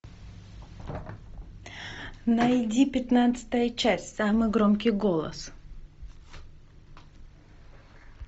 найди пятнадцатая часть самый громкий голос